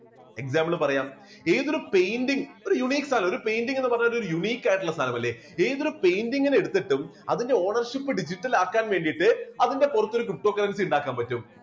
example പറയാം ഏതൊരു painting ഒരു uniques ആണ് painting എന്ന് പറയുന്ന ഒരു unique ആയിട്ട്ഉള്ള സാധനം അല്ലേ ഏതൊരു painting നെ എടുത്തിട്ടും അതിന്റെ ownership digital ആക്കാൻ വേണ്ടിയിട്ട് അതിന്റെ പുറത്തൊരു ptocurrency ഉണ്ടാക്കാൻ പറ്റും.